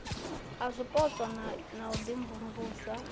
a zwipotso na u imvumvusa